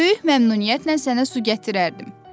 Böyük məmnuniyyətlə sənə su gətirərdim.